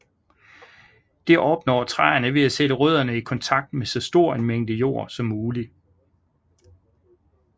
Det opnår træerne ved at sætte rødderne i kontakt med så stor en mængde jord som muligt